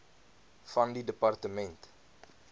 van die departement